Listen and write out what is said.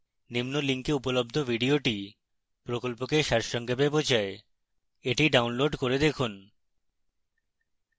নিম্ন link উপলব্ধ video প্রকল্পকে সারসংক্ষেপ বোঝায় the download করে দেখুন